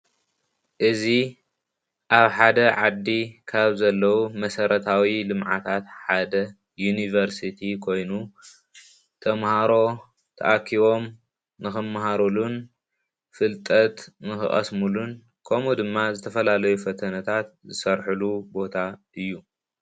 እዚ ኣብ ሓደ ዓዲ ካብዘለው መሰረታዊ ልምዓታት ሓደ ዩኒቨርሲቲ ኮይኑ ተማሃሮ ተኣኪቦም ንክመሃርሉን ፈልጠት ንክቀስሙሉን ከምኡ ድማ ዝተፈላለዩ ፈተነታት ዝሰርሕሉ ቦታ እዩ።